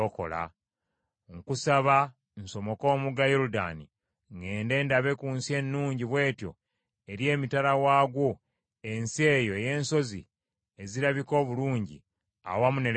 Nkusaba, nsomoke omugga Yoludaani, ŋŋende ndabe ku nsi ennungi bw’etyo eri emitala waagwo, ensi eyo ey’ensozi ezirabika obulungi, awamu ne Lebanooni.”